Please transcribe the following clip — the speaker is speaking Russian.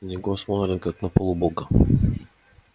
на него смотрят как на полубога